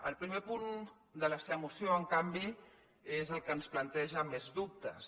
el primer punt de la seva moció en canvi és el que ens planteja més dubtes